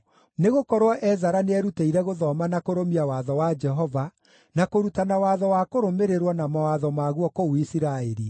Nĩgũkorwo Ezara nĩerutĩire gũthoma na kũrũmia Watho wa Jehova, na kũrutana watho wa kũrũmĩrĩrwo na mawatho maguo kũu Isiraeli.